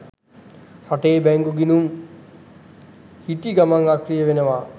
රටේ බැංකු ගිණුම් හිටිගමන් අක්‍රිය වෙනවා.